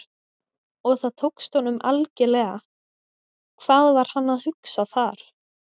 Og það tókst honum algerlega, hvað var hann að hugsa þar?